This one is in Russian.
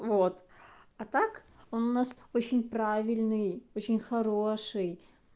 вот а так он у нас очень правильный очень хороший